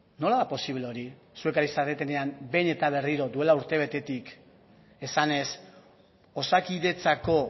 nola da posible hori zuek ari zaretenean behin eta berriro duela urtebetetik esanez osakidetzako